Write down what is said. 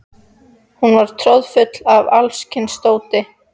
Hún var troðfull af alls kyns dóti.